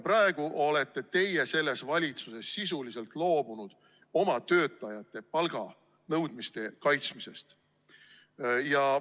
Praegu olete teie valitsuses sisuliselt loobunud oma töötajate palganõudmiste kaitsmisest.